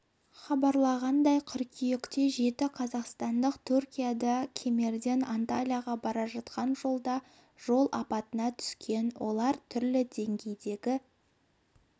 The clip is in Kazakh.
хабарлағандай қыркүйекте жеті қазақстандық түркияда кемерден анталияға бара жатқан жолда жол апатына түскен олар түрлі деңгейдегі